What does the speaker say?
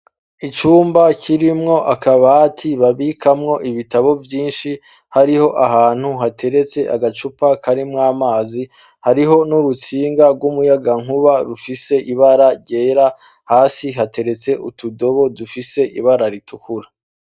Icumba kirimwo akabati babikamwo ibitabo vyinshi, hariho ahantu hateretse agacupa karimwo amazi, hariho n'urutsinga rw'umuyagankuba, rufise ibara ryera, hasi hateretse utudobo dufise ibara ritukura.